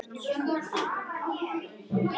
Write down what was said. Það er nú lítið að þakka.